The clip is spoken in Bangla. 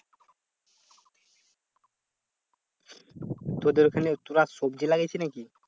তোদের ওখানে তোরা সবজি লাগিয়েছিস নাকি?